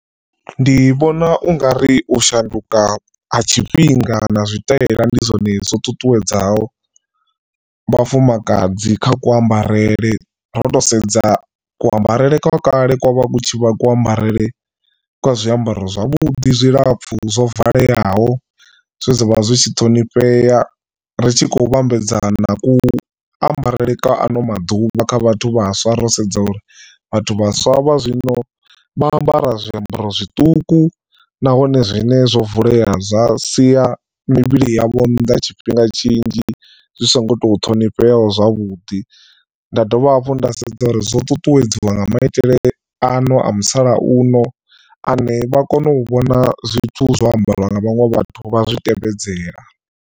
Ndi vhona u nga ri u shanduka ha tshifhinga na zwitaela ndi zwone zwo ṱuṱuwedzaho vhafumakadzi kha kuambarele ro to sedza kuambarele kwa kale ko vha ku ku ambarele kwa zwiambaro zwavhudi zwilapfhu zwo valeaho. Zwe zwavha zwi tshi ṱhonifhea ri tshi khou vhambedzana ku ambarele kwa ano maḓuvha kha vhathu vhaswa ro sedza uri vhathu vhaswa vha zwino vha ambara zwiambaro zwiṱuku nahone zwine zwo vulea zwa sia mivhili yavho nnḓa tshifhinga tshinzhi zwi so ngo to ṱhonifheaho zwavhuḓi nda dovha hafhu nda sedza uri zwo ṱuṱuwedziwa nga maitele ano a musalauno ane vha kona u vhona zwithu zwo ambariwa nga vhaṅwe vhathu vha zwi tevhedzela.